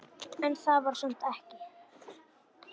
En það var samt ekki.